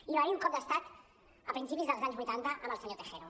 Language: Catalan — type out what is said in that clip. i va haver hi un cop d’estat a principis dels anys vuitanta amb el senyor tejero